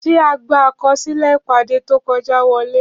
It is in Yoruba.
Ṣé àgbà akọsilẹ ìpàdé to kọjá wọlé?